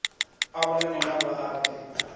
a vhonane navho a pfe